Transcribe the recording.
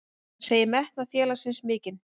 Hann segir metnað félagsins mikinn.